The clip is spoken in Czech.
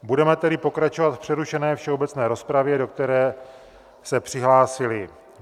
Budeme tedy pokračovat v přerušené všeobecné rozpravě, do které se přihlásili...